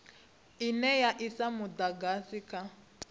ine ya isa mudagasi kha